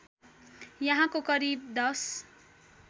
यहाँको करिब १०